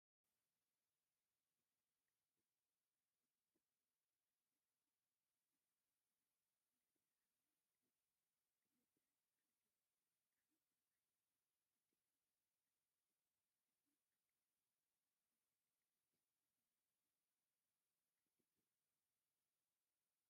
አርባዕተ ደቂ አንስትዮ ጀዲድ ተከዲነንን ተሓንጊጠንን አብ መንገዲ ጠጠው ኢለን እንዳተሰዓዓማ ይርከባ፡፡ ክልተ አእዱግ ከዓ ተፃዒነን ደድሕሪአን ይመፃ አለዋ፡፡ እዚ አከዳድና ናይዘን ደቂ አንስትዮ ናይ አበይ ዓዲ እዩ?